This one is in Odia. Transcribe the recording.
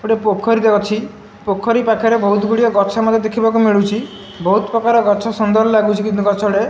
ଗୋଟେ ପୋଖରୀଟେ ଅଛି ପୋଖରୀ ପାଖରେ ବହୁତ୍ ଗୁଡ଼ିଏ ଗଛ ମଧ୍ୟ ଦେଖିବାକୁ ମିଳୁଛି ବହୁତ୍ ପ୍ରକାର ଗଛ ସୁନ୍ଦର୍ ଲାଗୁଚି କିନ୍ତୁ ଗଛଗୁଡ଼ା।